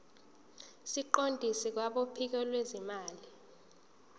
siqondiswe kwabophiko lwezimali